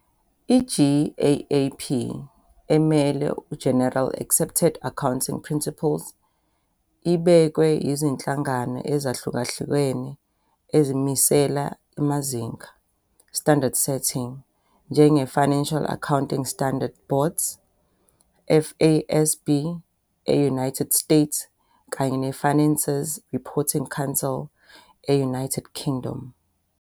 I-GAAP ", emele General Accepted Accounting Principles," ibekwe yizinhlangano ezahlukahlukene ezimisela amazinga", emele standard-setting," njenge-Financial Accounting Standards Board, emele FASB, e-United States kanye ne-Finances Reporting Council e-I-United Kingdom.